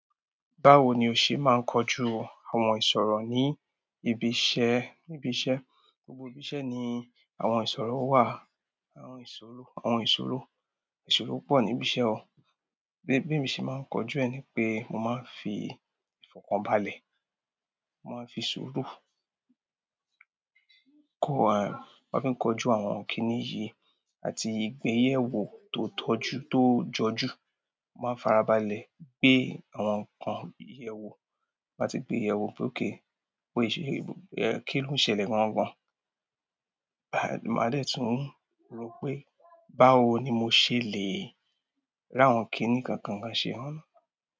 Báwo ni o ṣe máa ń kojú àwọn ìṣòro ní ibi iṣẹ́? Gbogbo ibi iṣẹ́ ni àwọn ìṣòro wà, àwọn ìṣòro, àwọn ìṣòro, ìṣòro pọ̀ ní ibi iṣẹ́ o, bí emi ṣe máa ń kojú ẹ ni pé mo máa ń fi ifọkanbalẹ, mo man fi sùúrù kojú àwọn kìíní yìí àti ìgbéyèwò tó jọjú, mo máa ń farabalẹ̀ gbé àwọn nǹkan yèwò, máa ti gbé ìyèwò pé okay, pé kí ló ń ṣẹlẹ̀ gangan. Màá de tún rò pé báwo ni mo ṣe le ráwọn kìíní kankan ṣe.